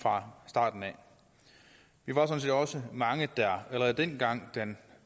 fra starten vi var sådan set også mange der allerede dengang den